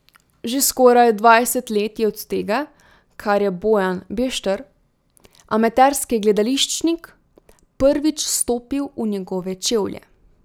Že skoraj dvajset let je od tega, kar je Bojan Bešter, amaterski gledališčnik, prvič stopil v njegove čevlje.